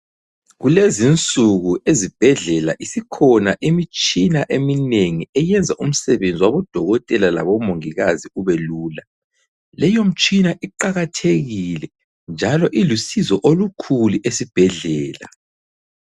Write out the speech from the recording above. Kulezinsuku ezibhedlela isikhona imitshina eminengi eyenza umsebenzi wabodokotela labomongikazi ubelula. Leyo mitshina iqakathekile njalo ilusizo olukhulu esibhedlela.